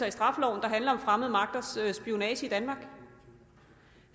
i straffeloven der handler om fremmede magters spionage i danmark